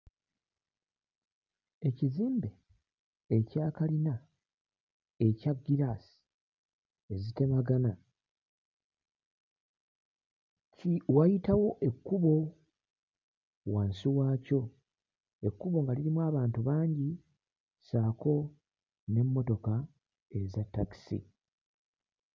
Ekizimbe ekya kalina ekya ggiraasi ezitemegana ki wayitawo ekkubo wansi waakyo. Ekkubo nga lirimu abantu bangi ssaako n'emmotoka eza ttakisi.